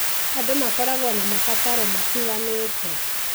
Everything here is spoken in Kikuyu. Andũ makoragwo na mabataro matiganĩte.